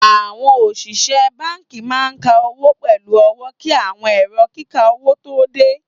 Awọn osìsẹ̀ bánkì máa n kà owó pẹ̀lú ọwọ̀ kí awọn èrò kíkà owó tó dẹ.